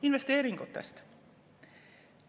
Investeeringutest.